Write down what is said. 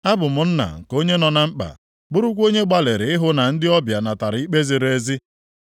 Abụ m nna nke onye nọ na mkpa; bụrụkwa onye gbalịrị ịhụ na ndị ọbịa natara ikpe ziri ezi.